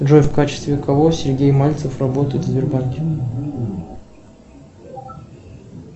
джой в качестве кого сергей мальцев работает в сбербанке